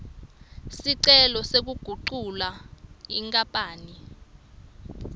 sicelo sekugucula inkapani